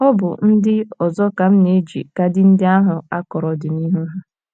Ọ bụ ndị ọzọ ka m na - eji kaadị ndị ahụ akọrọ ọdịnihu ha.